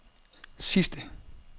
sidste